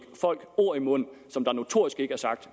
folk ord i munden der notorisk